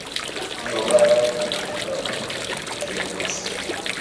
bí o bá ní iyèméjì kankan kí o kàn sí mi